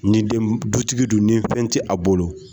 Ni den mun dutigi dun ni fɛn tɛ a bolo.